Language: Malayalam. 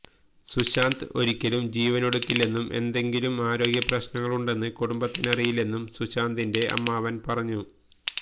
സുശാന്ത് ഒരിക്കലും ജീവനൊടുക്കില്ലെന്നും എന്തെങ്കിലും ആരോഗ്യപ്രശ്നങ്ങളുണ്ടെന്ന് കുടുംബത്തിനറിയില്ലെന്നും സുശാന്തിന്റെ അമ്മാവന് പറഞ്ഞു